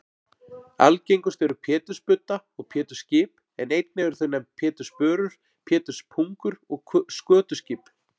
Algengust eru pétursbudda og pétursskip en einnig eru þau nefnd pétursbörur, péturspungur og skötuskip.